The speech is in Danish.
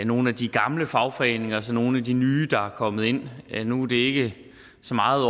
nogle af de gamle fagforeninger og så nogle af de nye der er kommet ind nu er det ikke så meget